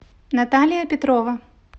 наталия петрова